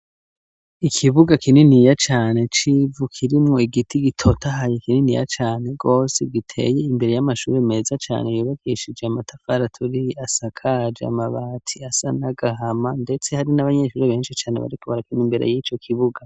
Ikibuga kininiya cane, c'ivu, kirimwo igiti, gitotahaye, kininiya cane gose; giteye imbere y'amashuri, meza cane, yubakishije amatafari aturiye, asakaje amabati; asa n'agahama, ndetse hari n'abanyeshuri, benshi cane, bariko barakina, imbere y'ico kibuga.